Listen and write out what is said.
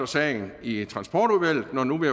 sagen i transportudvalget når nu vi